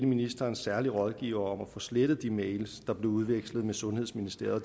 ministerens særlige rådgiver om at få slettet de mails der blev udvekslet med sundhedsministeriet og